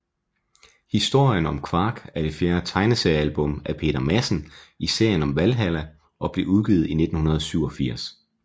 Historien om Quark er det fjerde tegneseriealbum af Peter Madsen i serien om Valhalla og blev udgivet i 1987